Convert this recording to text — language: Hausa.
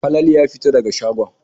Falalu yana fita daga shagon.